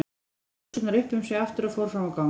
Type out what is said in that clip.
Hún dró buxurnar upp um sig aftur og fór fram á gang.